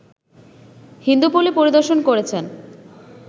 হিন্দুপল্লী পরিদর্শন করেছেন